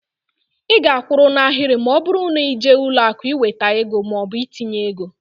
Ị ga-akwụrụ n'ahịrị ma ọbụrụ na ịje ụlọakụ iweta maọbụ itinye ego.